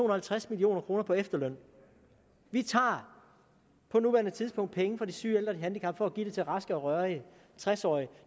og halvtreds million kroner på efterløn vi tager på nuværende tidspunkt penge fra de syge ældre og handicappede give dem til raske og rørige tres årige